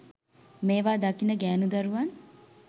මේවා දකින ගෑණු දරුවන්